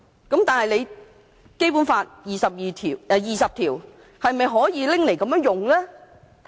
然而，《基本法》第二十條是否可以這樣引用的呢？